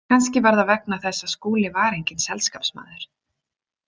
Kannski var það vegna þess að Skúli var enginn selskapsmaður.